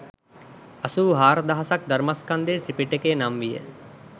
අසූ හාරදහසක් ධර්මස්කන්ධය ත්‍රිපිටකය නම් විය